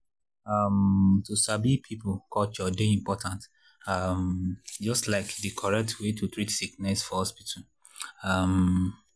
um to sabi people culture dey important um just like di correct way to treat sickness for hospital. um